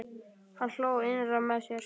Hann hló innra með sér.